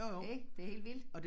Ik det helt vildt